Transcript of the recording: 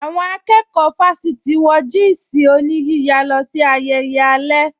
Àwọn akẹ́kọ̀ọ́ fásítì wọ jị́ị̀sị̀ oníyíya lọ sí ayẹyẹ alẹ́